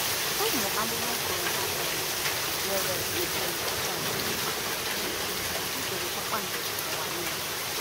Ụmụ amụma kwuru na e um nwere ijeri upon um ijeri kpakpando n’ụwa niile!